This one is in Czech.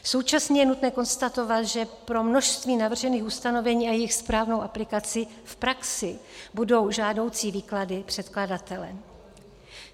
Současně je nutné konstatovat, že pro množství navržených ustanovení a jejich správnou aplikaci v praxi budou žádoucí výklady předkladatele.